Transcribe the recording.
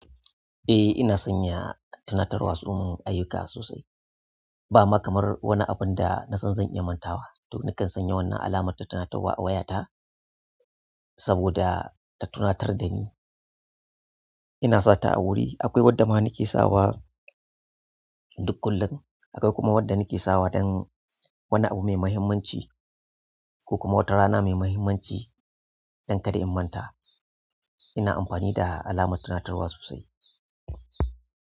Eh ina sanya tunatarwan uhm ayyuka sosai. Ba ma kamar wani abun da nasan zan iya mantawa. To nakan sanya wannan alamar ta tunatarwa a wayata saboda ta tunatar da ni. Ina sata a wuri. Akwai wadda ma nake sawa duk kullum. Akwai kuma wadda nake sawa dan wani abu mai muhimmanci ko kuma wata rana mai muhimmanci dan kada in manta. Ina amfani da alamar tunatarwa sosai.